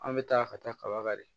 An bɛ taa ka taa kaba kan de